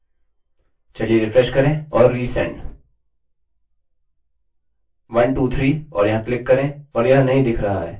आपको इन चीजों की जाँच करनी होगी यह गलतियाँ करने के लिए आसान है